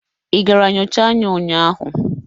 Ị gara nyocha anya ụnyaahụ?